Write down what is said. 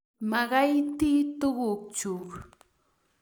Magaiti tuguk chuk